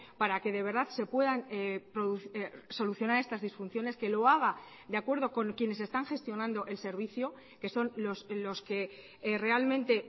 para que de verdad se puedan solucionar estas disfunciones que lo haga de acuerdo con quienes están gestionando el servicio que son los que realmente